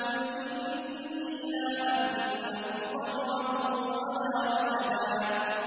قُلْ إِنِّي لَا أَمْلِكُ لَكُمْ ضَرًّا وَلَا رَشَدًا